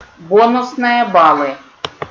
бонусные баллы